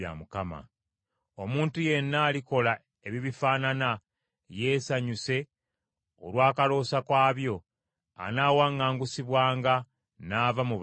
Omuntu yenna alikola ebibifaanana yeesanyuse olw’akaloosa kaabyo, anaawaŋŋangusibwanga, n’ava mu bantu b’ewaabwe.”